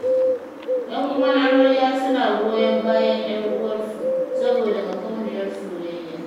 Yan uwan amarya suna goyon bayan 'yar uwarsu, saboda makauniyar soyayya.